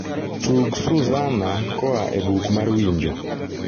tug suzanna koa e buk mar winjo